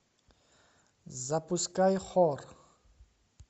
запускай хор